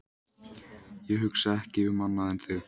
Ég hugsa ekki um annað en þig.